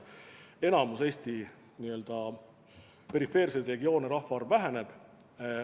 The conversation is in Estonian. Enamikus Eesti n-ö perifeersetes regioonides rahvaarv väheneb.